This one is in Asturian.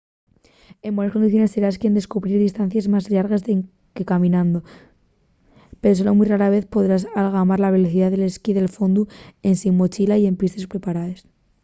en bones condiciones serás quien a cubrir distancies más llargues que caminando – pero solo mui rara vez podrás algamar la velocidá del ski de fondu ensin mochila y en pistes preparaes